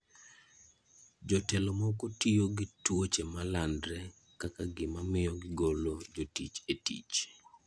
Jotelo moko tiyo gi tuoche malandre kaka gima miyo gigolo jotich e tich.